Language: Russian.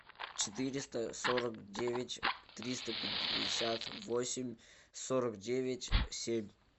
четыреста сорок девять триста пятьдесят восемь сорок девять семь